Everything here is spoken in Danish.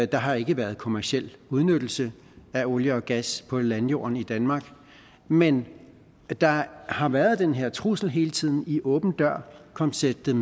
der har ikke været kommerciel udnyttelse af olie og gas på landjorden i danmark men der har været den her trussel hele tiden i åben dør konceptet